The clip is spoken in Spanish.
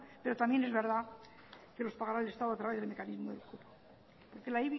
pero también es verdad que los pagará el estado a través de mecanismos